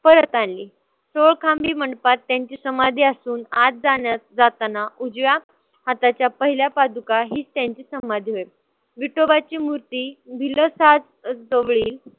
परत आणली. सोळखांबी मंडपात त्यांची समाधी असून आत जाण्यास जाताना उजव्या हाताच्या पहिल्या पादुका हीच त्यांची समाधी होय. विठोबाची मूर्ती वेळी